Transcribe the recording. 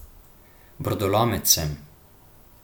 Brodolomec sem.